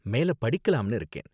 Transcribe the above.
மேல படிக்கலாம்னு இருக்கேன்.